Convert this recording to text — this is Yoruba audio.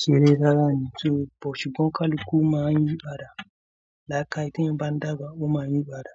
ṣeré rárá ni. Torí bọ̀, ṣùgbọ́n kalukú máa ń yípàdà. Làákàì t'èèyàn bá ń dàgbà, wọ́n máa ń ní ìpàdà.